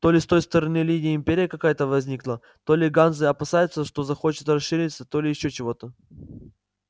то ли с той стороны линии империя какая-то возникла то ли ганзы опасаются что захочет расшириться то ли ещё чего-то